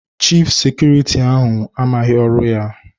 Chif sekuriti ahụ amaghị ọrụ ya.